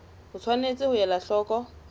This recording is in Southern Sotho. o tshwanetse ho ela hloko